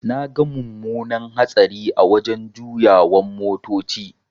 Naga mumunar hatsari a wajan juyawan motoci.